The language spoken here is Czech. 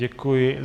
Děkuji.